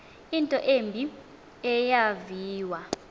into embi eyaviwa